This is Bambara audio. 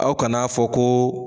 Aw kan'a fɔ ko